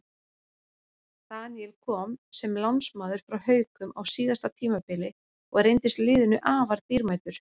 Daníel kom sem lánsmaður frá Haukum á síðasta tímabili og reyndist liðinu afar dýrmætur.